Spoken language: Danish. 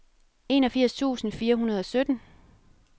enogfirs tusind fire hundrede og sytten